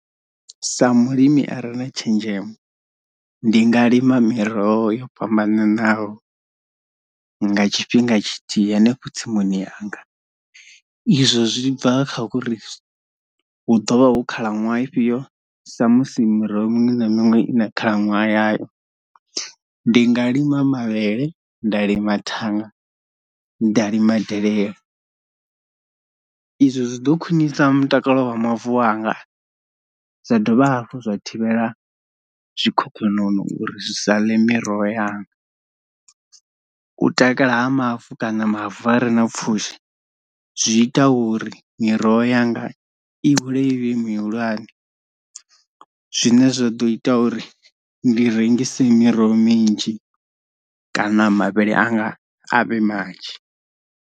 Sa mulimi are na tshenzhemo ndi nga lima miroho yo fhambananaho nga tshifhinga tshithihi hanefho tsimuni yanga, izwo zwi bva kha uri hu ḓovha hu khalaṅwaha ifhio sa musi miroho miṅwe na miṅwe i na khalaṅwaha yayo. Ndi nga lima mavhele, nda lima thanga, nda lima delele izwo zwi ḓo khwinisa mutakalo wa mavu anga zwa dovha hafhu zwa thivhela zwikhokhonono uri zwi sa ḽe miroho yanga, u takala ha mavu kana mavu a re na pfhushi zwi ita uri miroho yanga i hule ivhe mihulwane zwine zwa ḓo ita uri ndi rengise miroho minzhi kana mavhele anga a vhe manzhi.